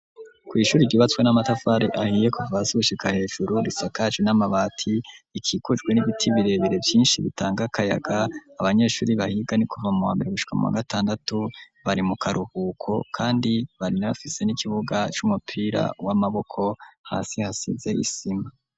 Kw'ishuri, ryubatswe n'amatafari ahiye, kuva hasi, gushika hejuru, risakaje n'amabati, rikikujwe n'ibiti birebere, vyinshi, bitanga kayaga; abanyeshuri bahiga, ni kuva mu wa mbere, gushika mu wa gatandatu; bari mu karuhuko, kandi baranafise n'ikibuga, c'umupira w'amaboko, hasi hasize isima.